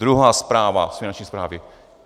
Druhá zpráva z Finanční správy.